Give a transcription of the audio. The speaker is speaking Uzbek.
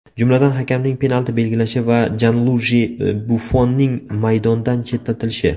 Jumladan, hakamning penalti belgilashi va Janluiji Buffonnning maydondan chetlatilishi.